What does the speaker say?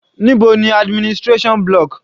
Níbo ni administration block?